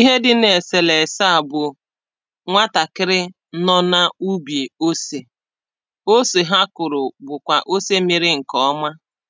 Ihe dị na eselese a bụ̀ nwatakịrị nọ na ubi osè ose ha kụrụ̀ bụkwa ose mịrị nke ọmà